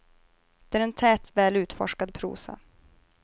Det är en tät, väl utforskad prosa.